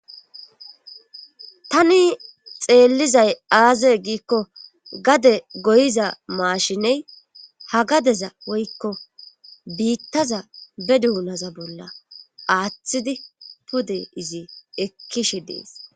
tani xeellizay aaze giikko gade goyiza maashiney ha gadeza woykko biittaza be duunaza bolla aaththidi pode izi ekkishe dees